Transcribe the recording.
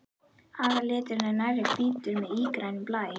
Aðalliturinn er nærri hvítur með ígrænum blæ.